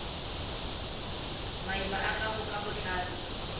maina a gago ka botlalo